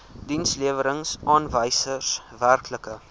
dienslewerings aanwysers werklike